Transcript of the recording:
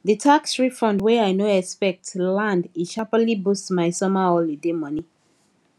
the tax refund wey i no expect land e sharply boost my summer holiday money